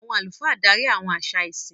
Àwọn àlùfáà darí àwọn àṣà ìsìn.